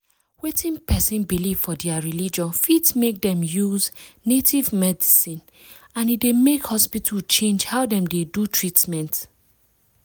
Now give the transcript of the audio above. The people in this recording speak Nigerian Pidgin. wetin person believe for their religion fit make dem use native medicine and e dey make hospital change how dem dey do treatment.